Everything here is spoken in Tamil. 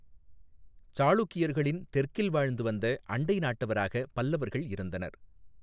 சாளுக்கியர்களின் தெற்கில் வாழ்ந்து வந்த அண்டை நாட்டவராக பல்லவர்கள் இருந்தனர்.